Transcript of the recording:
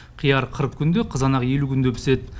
қияр қырық күнде қызанақ елу күнде піседі